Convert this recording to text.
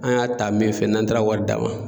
An y'a ta min fɛ, n'an taara wari d'a ma